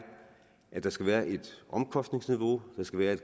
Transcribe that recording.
at der skal være et omkostningsniveau der skal være